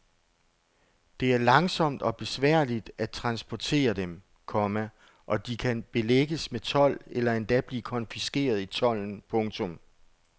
Det er langsomt og besværligt at transportere dem, komma og de kan belægges med told eller endda blive konfiskeret i tolden. punktum